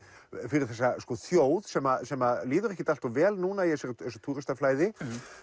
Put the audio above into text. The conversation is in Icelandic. fyrir þessa þjóð sem sem líður ekkert alltof vel núna í þessu túristaflæði